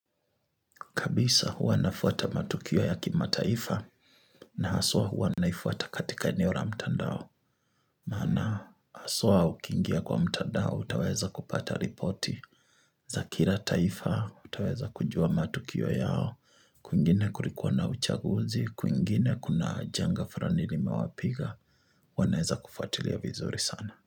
Kabisa huwa nafuata matukio ya kimataifa na haswa hua naifuata katika eneo ra mtandao. Maana haswa ukingia kwa mtandao utaweza kupata ripoti. Za kira taifa utaweza kujua matukio yao. Kwingine kulikuwa na uchaguzi, kwingine kuna janga furani limewapiga, huwa naeza kufuatilia vizuri sana.